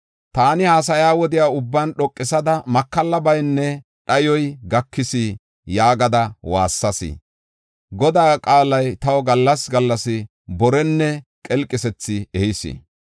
Taani haasaya wode ubban, “Makallabaynne dhayoy gakis” gada waassayis. Godaa qaalay taw gallas gallas borenne qelqisethi ehis.